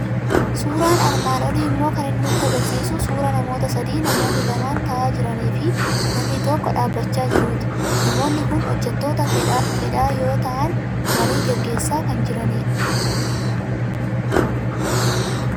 Suuraan armaan olii immoo kan inni nutti argisiisu suuraa namoota sadii, namoonni lama taa'aa jiranii fi namni tokko dhaabachaa jirtuuti. Namoonni kun hojjettoota fedhaa yoo ta'an, marii gaggeessaa kan jiranidha.